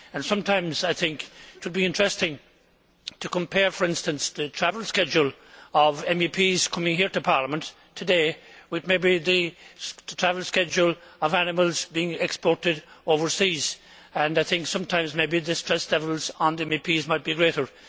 Sometimes I think it would be interesting to compare, for instance, the travel schedule of MEPs coming here to Parliament today with the travel schedule of animals being exported overseas, and I think sometimes the stress levels on MEPs might be greater.